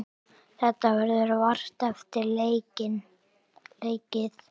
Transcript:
Þetta verður vart eftir leikið.